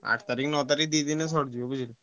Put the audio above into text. ଆଠ ତାରିଖ ନଅ ତାରିଖ ଦି ଦିନ ରେ ସରିଯିବ ବୁଝିଲୁ।